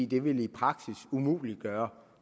det ville i praksis umuliggøre